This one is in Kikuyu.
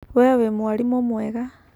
Wee wĩ mwarimu mwega.